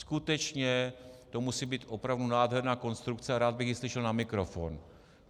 Skutečně to musí být opravdu nádherná konstrukce a rád bych ji slyšel na mikrofon.